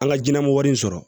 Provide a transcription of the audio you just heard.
An ka jinɛmɔgɔ wari in sɔrɔ